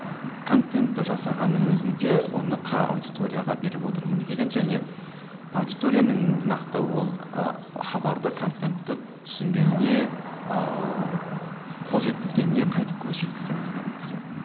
контентті жасағанның өзінде оны қай аудиторияға беріп отырмын деген және аудиторияның нақты ол ы хабарды контентті түсінгеніне ыыы қол жеткізгеніне қайтып көз жеткіземін деген нәрсе мхм